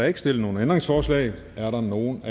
ikke stillet nogle ændringsforslag er der nogen